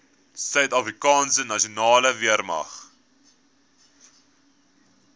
suidafrikaanse nasionale weermag